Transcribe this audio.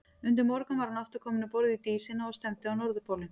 Undir morgun var hann aftur kominn um borð í Dísina og stefndi á Norðurpólinn.